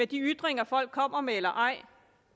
de ytringer folk kommer med eller ej